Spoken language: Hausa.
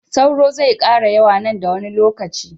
sauro zai kara yawa nan da wani lokaci